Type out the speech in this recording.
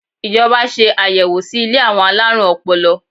Ìjọba ṣe ayẹwo sí ilé àwọn alárùn ọpọlọ.